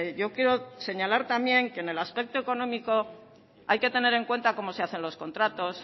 yo quiero señalar también que en el aspecto económico hay que tener en cuenta cómo se hacen los contratos